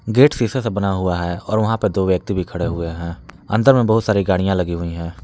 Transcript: Gate सीसे से बना हुआ है। और वहां पे दो व्यक्ति भी खड़े हुए हैं अंदर में बहुत सारी गाड़ियां लगी हुई हैं।